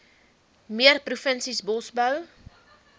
meer provinsies bosbou